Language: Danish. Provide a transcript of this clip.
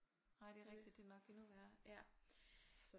Nej det er rigtig det er nok endnu værre ja